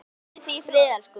Hvíldu í friði elsku vinur.